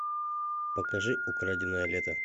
покажи украденное лето